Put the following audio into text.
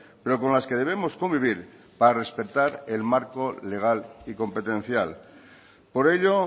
pero con las que debemos convivir para respetar el marco legal y competencial por ello